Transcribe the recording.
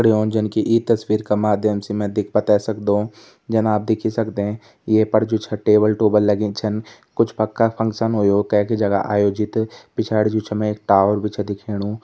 जन की इं तस्वीर का माध्यम से में देख पते बैते सकदु जेमा आप देख ही सकदें ये पर जो छै टेबल -टुबल लगीं छिन कुछ पक्का फंक्शन हुयु कै की जगह आयोजित पिछाड़ी जो छा में टावर भी छा दिख्याणु।